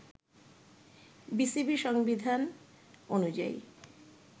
BCB সংবিধান অনুযায়ী